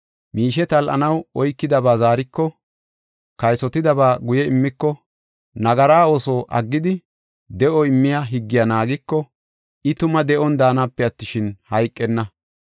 miishe tal7anaw oykidaba zaariko, kaysotidaba guye immiko, nagara ooso aggidi, de7o immiya higgiya naagiko, I tuma de7on daanape attishin, hayqenna.